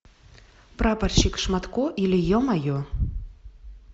прапорщик шматко или е мое